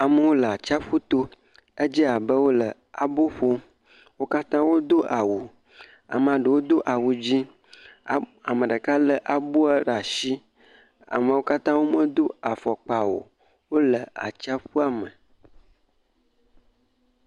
Amewo le atsiaƒu to. Edze abe wole abo ƒom. Wo katã wodo awu. Amaa ɖewo do awu dzẽ. A, ame ɖeka lé abo ɖe ashi. Amewo katã womedo afɔkpa o, wole atsiaƒua me.